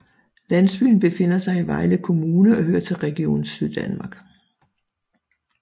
Landsbyen befinder sig i Vejle Kommune og hører til Region Syddanmark